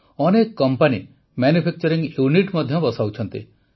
ଅନେକ company manufacturing unit ମଧ୍ୟ ବସାଉଛନ୍ତି